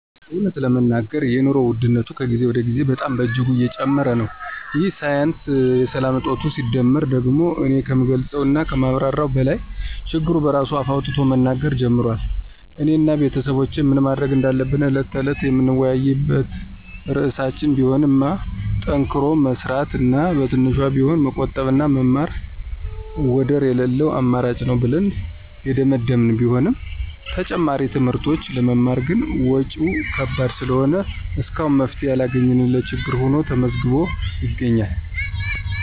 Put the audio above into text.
እውነት ለመናገር የኑሮ ውድነቱ ከጊዜ ወደ ጊዜ በጣም በእጅጉ እየጨመረ ነው፤ ይህ ሳያንስ የሰላም እጦቱ ሲደመርበት ደግሞ እኔ ከምገልፀው እና ከማብራራው በላይ ችግሩ በራሱ አፍ አውጥቶ መናገር ጀምሯል። እኔ እና ቤተሰቦቼ ምን ማድረግ እንዳለብን ዕለት ተዕለት የምንወያይበት ርዕሳችን ቢሆንማ ጠንክሮ መስራት እና በትንሿም ቢሆን መቆጠብና መማር ወደር የለለው አማራጭ ነው ብለን የደመደመን ቢሆንም ተጨማሪ ትምህርቶችን ለመማር ግን ወጭው ከባድ ስለሆነ እስካሁን መፍትሔ ያላገኘንለት ችግር ሁኖ ተመዝግቦ ይገኛል።